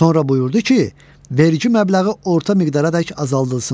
Sonra buyurdu ki, vergi məbləği orta miqdaradək azaldılsın.